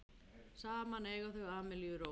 Saman eiga þau Amelíu Rós.